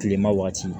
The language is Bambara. Kilema waati